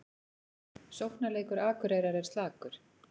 Sóknarleikur Akureyrar er slakur